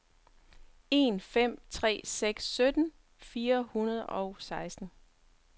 en fem tre seks sytten fire hundrede og seksten